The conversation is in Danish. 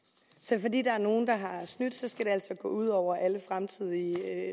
så fordi der er nogle der har snydt skal det altså gå ud over alle fremtidige